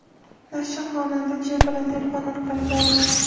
Nashr xonanda J. bilan telefon orqali bog‘langan.